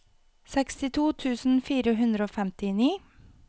sekstito tusen fire hundre og femtini